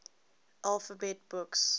alphabet books